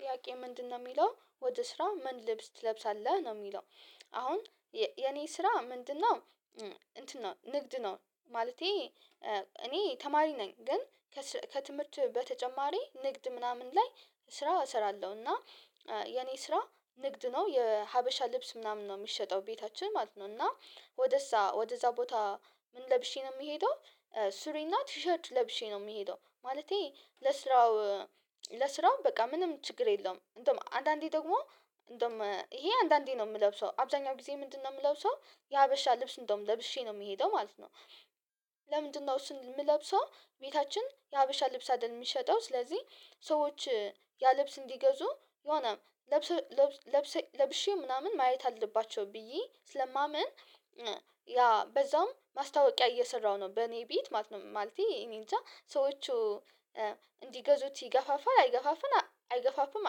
ጥያቄ ምንድነው የሚለው ወደ ስራ ምን ልብስ ትለብሳለህ ነው የሚለው? አሁን የኔ ስራ ምንድነው እንትን ነው ንግድ ነው። ማለቴ እኔ ተማሪ ነኝ። ግን ከትምህርት በተጨማሪ ንግድ ምናምን ላይ ስራ እሰራለሁ። እና የኔ ስራ ንግድ ነው የሀበሻ ልብስ ምናምን ነው የሚሸጠው ቤታችን ማለት ነው። እና ወደዛ ወደዛ ቦታ ምን ለብሼ ነው የምሄደው። ሱሪና ቲሸርት ለብሼ ነው የምሄደው ማለቴ ለስራው ለስራው በቃ ምንም ችግር የለውም። እንደውም አንዳንዴ ደግሞ እንደውም ይሄ አንዳንዴ ነው የምለብሰው አብዛኛው ጊዜ ምንድነው የምለብሰው የሀበሻ ልብስ እንደውም ለብሼ ነው የምሄደው ማለት ነው። ለምንድነው እሱን የምለብሰው? ቤታችን የሀበሻ ልብስ አይደለም የሚሸጠው ስለዚህ ሰዎች ያልብስ እንዲገዙ የሆነ ለብሼ ምናምን ማየት አለባቸው ብዬ ስለማምን። ያ በዛውም ማስታወቂያ እየሰራሁ ነው በእኔ ቤት ማለት ነው። ማለቴ እኔ እንጃ ሰዎች እንዲገዙት ይገፋፋል አይገፋፍም አይገፋፍም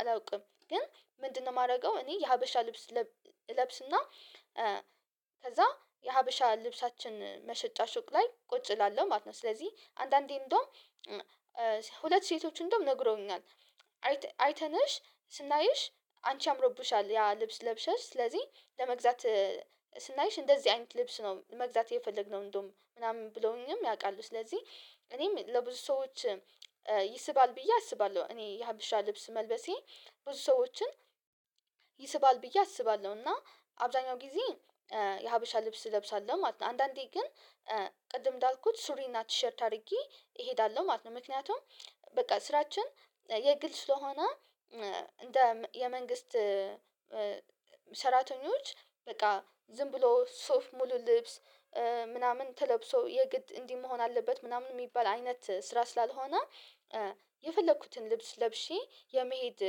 አላውቅም። ግን ምንድነው የማደርገው? እኔ የሀበሻ ልብስ እለብስና ከዛ የሀበሻ ልብሳችን መሸጫ ሱቅ ላይ ቁጭ እላለሁ ማለት ነው። ስለዚህ አንዳንዴ እንደውም ሁለት ሴቶች እንደውም ነግረውኛል አይተንሽ ስናይሽ አንቺ አምሮብሻል ያ ልብስ ለብሰሽ ስለዚህ ለመግዛት ስናይሽ እንደዚህ አይነት ልብስ ነው መግዛት የፈለግነው እንደውም ምናምን ብለውኝም ያውቃሉ። ስለዚህ እኔም ለብዙ ሰዎች ይስባል ብዬ አስባለሁ እኔ የሀብሻ ልብስ መልበሴ ብዙ ሰዎችን ይስባል ብዬ አስባለሁ። እና አብዛኛው ጊዜ የሀበሻ ልብስ እለብሳለሁ ማለት ነው። አንዳንዴ ግን ቅድም እንዳልኩት ሱሪ እና ቲሸርት አድርጌ እሄዳለሁ ማለት ነው። ምክንያቱም በቃ ስራችን የግል ስለሆነ እንደ መንግስት ሰራተኞች በቃ ዝም ብሎ ሶፍ ሙሉ ልብስ ምናምን ተለብሶ የግድ እንዲህ መሆን አለበት ምናምን የሚባል አይነት ስራ ስላልሆነ የፈለኩትን ልብስ ለብሼ የመሄድ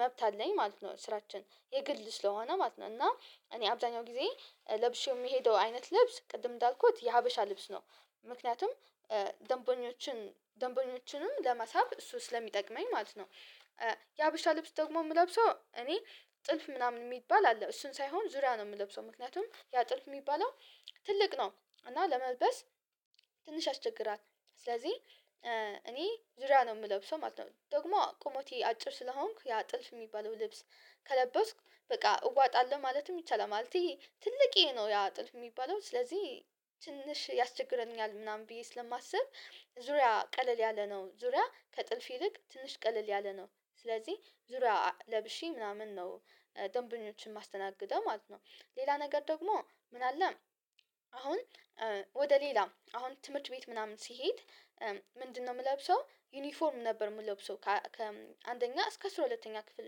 መብት አለኝ ማለት ነው። ስራችን የግል ስለሆነ ማለት ነው። እና እኔ አብዛኛው ጊዜ ለብሼው የሚሄደው አይነት ልብስ ቅድም እንዳልኩት የሀበሻ ልብስ ነው። ምክንያቱም ደንቦኞችን ደንቦኞችንም ለማሳብ እሱ ስለሚጠቅመኝ ማለት ነው። የሀበሻ ልብስ ደግሞ የምለብሰው እኔ ጥልፍ ምናምን የሚባል አለ እሱን ሳይሆን ዙሪያ ነው የምለብሰው ምክንያቱም ያ ጥልፍ የሚባለው ትልቅ ነው እና ለመልበስ ትንሽ ያስቸግራል ስለዚህ እኔ ዙሪያ ነው የምለብሰው ማለት ነው። ደግሞ ቆመቴ አጭር ስለሆንኩ ያ ጥልፍ የሚባለው ልብስ ከለበስኩ በቃ እዋጣለሁ ማለትም ይቻላል። ማለት ይሄ ትልቅየ ነው ያ ጥልፍ የሚባለው ስለዚህ ትንሽ ያስቸግረኛል ምናምን ብዬ ስለማስብ ዙሪያ ቀለል ያለ ነው ዙሪያ ከጥልፍ ይልቅ ትንሽ ቀለል ያለ ነው ስለዚህ ዙሪያ ለብሺ ምናምን ነው። ጥያቄ ምንድነው የሚለው ወደ ስራ ምን ልብስ ትለብሳለህ ነው? የሚለው አሁን የኔ ስራ ምንድነው እንትን ነው ንግድ ነው። ማለቴ እኔ ተማሪ ነኝ ግን ከትምህርት በተጨማሪ ንግድ ምናምን ላይ ስራ እሰራለሁ። እና ምንድነው የምለብሰው ዩኒፎርም ነበር የምለብሰው ከአንደኛ እስከ አስራ ሁለተኛ ክፍል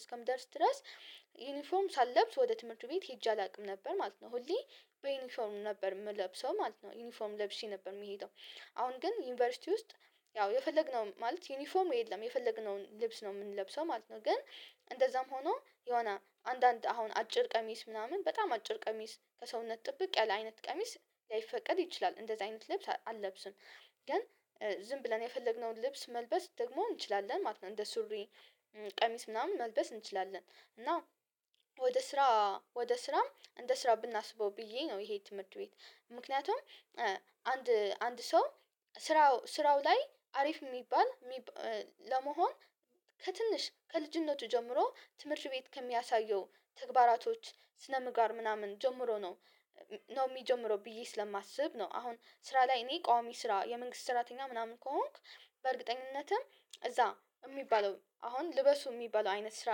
እስከምደርስ ድረስ ዩኒፎርም ሳልብስ ወደ ትምህርቱ ቤት ሄጄ አላውቅም ነበር ማለት ነው። ሁሌ በዩኒፎርሙ ነበር የምለብሰው ማለት ነው። ዩኒፎርም ለብሼ ነበር የምሄደው አሁን ግን ዩኒቨርሲቲ ውስጥ ያው የፈለግነው ማለት ዩኒፎም የለም የፈለግነውን ልብስ ነው የምንለብሰው ማለት ነው። ግን እንደዛም ሆኖ የሆነ አንዳንድ አሁን አጭር ቀሚስ ምናምን በጣም አጭር ቀሚስ ከሰውነት ጥብቅ ያለ አይነት ቀሚስ ላያይፈቀድ ይችላል እንደዚህ አይነት ልብስ አልለብስም። ግን ዝም ብለን የፈለግነውን ልብስ መልበስ ደግሞ እንችላለን እንደ ሱሪ ቀሚስ ምናምን መልበስ እንችላለን። እና ወደ ስራ ወደ ስራም እንደ ስራ ብናስበው ብዬ ነው። ይሄ ትምህርት ቤት ምክንያቱም አንድ አንድ ሰው ስራው ስራው ላይ አሪፍ የሚባል ለመሆን ከትንሽ ከልጅነቱ ጀምሮ ትምህርት ቤት ከሚያሳየው ተግባራቶች ስነምጋር ምናምን ጀምሮ ነው። ኖ የሚጀምሮ ብዬ ስለማስብ ነው። አሁን ስራ ላይ እኔ ቋሚ ስራ የመንግስት ስራተኛ ምናምን ከሆንኩ በእርግጠኝነትም እዛ የሚባለው አሁን ልበሱ የሚባለው አይነት ስራ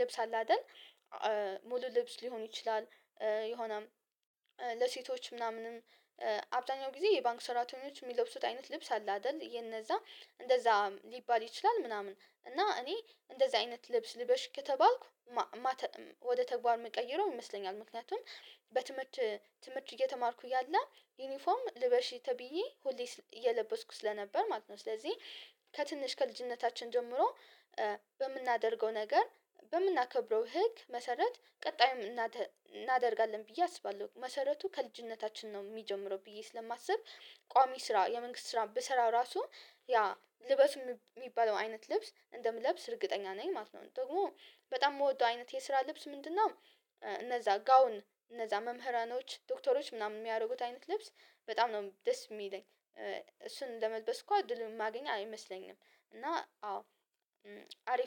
ልብስ አለ አይደል ሙሉ ልብስ ሊሆን ይችላል። የሆነም ለሴቶች ምናምንም አብዛኛው ጊዜ የባንክ ሰራተኞች የሚለብሱት አይነት ልብስ አለ አይደል የነዛ እንደዛ ሊባል ይችላል። ምናምን እና እኔ እንደዚህ አይነት ልብስ ልበሽ ከተባልኩ ወደ ተግባር እመቀየረው ይመስለኛል። ምክንያቱም በትምህርት ትምህርት እየተማርኩ ያለ ዩኒፎርም ልበሺ ተብዬ ሁሌ እየለበስኩ ስለነበር ማለት ነው። ስለዚህ ከትንሽ ከልጅነታችን ጀምሮ በምናደርገው ነገር በምናከብረው ህግ መሰረት ቀጣይም እናደርጋለን ብዬ አስባለሁ። መሰረቱ ከልጅነታችን ነው የሚጀምረው ብዬ ስለማስብ ቋሚ ስራ የመንግስት ስራ ብሰራ ራሱ ያ ልበሱ የሚባለው አይነት ልብስ እንደምለብስ እርግጠኛ ነኝ ማለት ነው። ደግሞ በጣም የምወደው አይነት የስራ ልብስ ምንድነው? እነዛ ጋውን እነዛ መምህራኖች ዶክተሮች ምናምን የሚያደርጉት አይነት ልብስ በጣም ነው ዴስ የሚለኝ እሱን ለመልበስ እኮ አድልም ማገኘት አይመስለኝም። እና አዎ አሪፍ